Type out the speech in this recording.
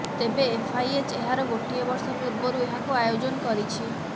ତେବେ ଏଫ୍ଆଇଏଚ୍ ଏଥର ଗୋଟିଏ ବର୍ଷ ପୂର୍ବରୁ ଏହାକୁ ଆୟୋଜନ କରିଛି